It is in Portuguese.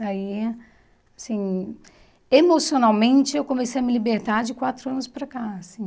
Daí, assim, emocionalmente, eu comecei a me libertar de quatro anos para cá, assim...